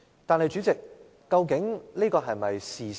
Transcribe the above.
但是，主席，這究竟是否事實？